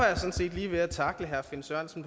lige ved at tackle herre finn sørensen